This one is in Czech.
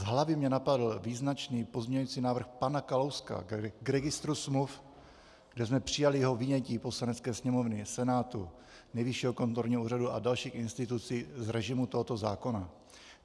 Z hlavy mě napadl význačný pozměňovací návrh pana Kalouska k registru smluv, kde jsme přijali jeho vynětí Poslanecké sněmovny, Senátu, Nejvyššího kontrolního úřadu a dalších institucí z režimu tohoto zákona.